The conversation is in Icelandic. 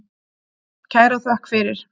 Kæra þökk fyrir.